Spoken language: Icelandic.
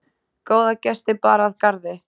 Góða gesti bar að garði.